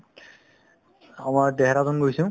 অসমৰ দেহৰাদুন গৈছো